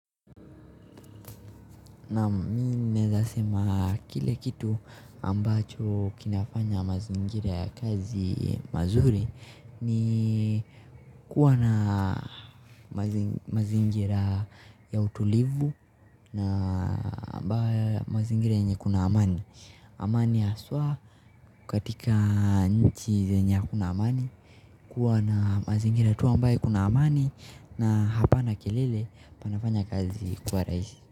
Naa mi naweza sema kile kitu ambacho kinafanya mazingira ya kazi mazuri ni kuwa na mazingira ya utulivu na mazingira yenye kuna amani amani haswa katika nchi zenye kuna amani kuwa na mazingira tu ambae kuna amani na hapana kelele panafanya kazi kua rahisi.